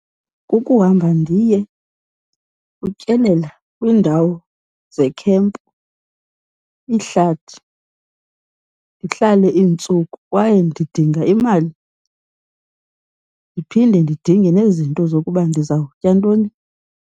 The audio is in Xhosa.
Kukuhamba ndiye kutyelela kwiindawo zekhempu, ihlathi, ndihlale iintsuku. Kwaye ndidinga imali, ndiphinde ndidinge nezinto zokuba ndizawutya ntoni.